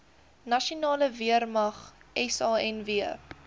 nasionale weermag sanw